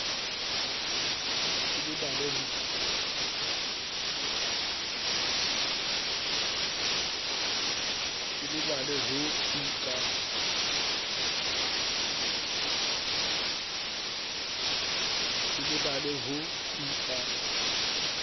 ke lebale ho tu ka